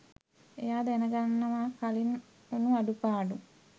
එයා දැනගන්නවා කලින් වුණු අඩුපාඩු.